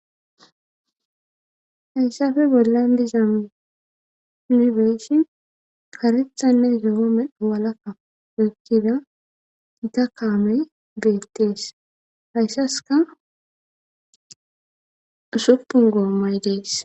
Haysafe bollandi zaamibeeshi karexanne yoomewalakka eykkida ita kaamey beettees hayssaska usupun goommay de'es.